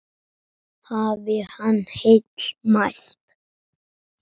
Hafi hann heill mælt.